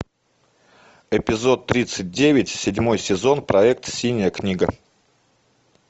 эпизод тридцать девять седьмой сезон проект синяя книга